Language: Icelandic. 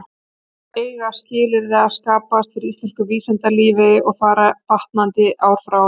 Þar eiga skilyrði að skapast fyrir íslensku vísindalífi, og fara batnandi ár frá ári.